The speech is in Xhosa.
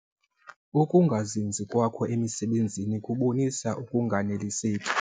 Ukungazinzi kwakho emisebenzini kubonisa ukunganeliseki.